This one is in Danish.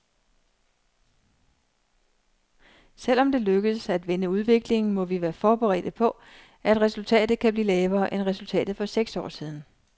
Selv om det lykkes at vende udviklingen, må vi være forberedt på, at resultatet kan blive lavere end resultatet for seks år siden.